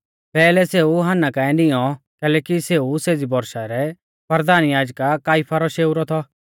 पैहलै सेऊ हन्ना काऐ निऔं कैलैकि सेऊ सेज़ी बौरशा रै परधान याजक काइफा रौ शेऊरौ थौ